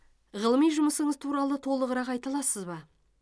ғылыми жұмысыңыз туралы толығырақ айта аласыз ба